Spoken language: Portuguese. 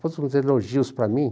Pôs uns elogios para mim.